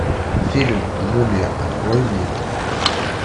фильм мумия открой мне